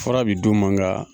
Fura kun bi d'u ma nga.